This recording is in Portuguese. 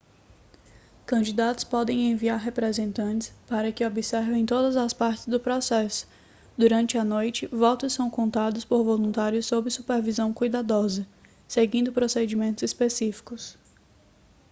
candidatos podem enviar representantes para que observem todas as partes do processo durante a noite votos são contados por voluntários sob supervisão cuidadosa seguindo procedimentos específicos